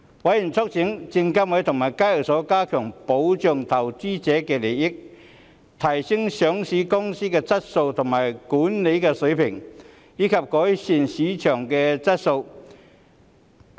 委員促請證券及期貨事務監察委員會及港交所加強保障投資者利益、提升上市公司的質素和管治水平，以及改善市場的質素。